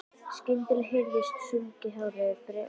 Skyndilega heyrist sungið hárri, bjartri röddu.